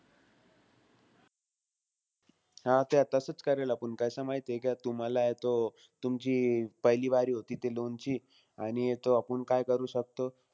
हां ते तसाचं करेल आपुन. कसंय माहितीय का, तुम्हालाय तो, तुमची पहिली बारी होती ते loan ची. आणि तो आपुन काय करू शकतो?